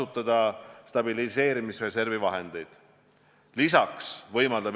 Üks on meditsiiniline, epidemioloogiline, teine on sotsiopoliitiline.